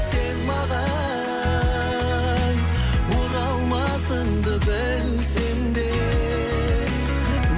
сен маған оралмасыңды білсем де